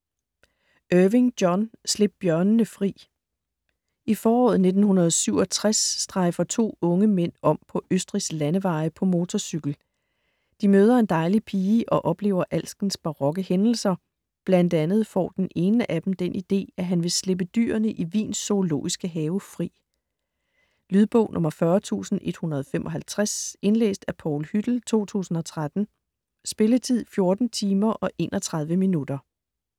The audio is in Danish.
Irving, John: Slip bjørnene fri I foråret 1967 strejfer to unge mænd om på Østrigs landeveje på motorcykel. De møder en dejlig pige og oplever alskens barokke hændelser, bl.a. får den ene af dem den idé, at han vil slippe dyrene i Wiens Zoologiske Have fri. Lydbog 40155 Indlæst af Paul Hüttel, 2013. Spilletid: 14 timer, 31 minutter.